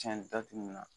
Tiɲɛ datugulan